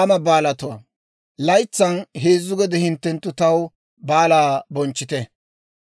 «Laytsan heezzu gede hinttenttu taw baalaa bonchchite.